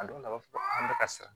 A dɔw la a b'a fɔ an bɛ ka siran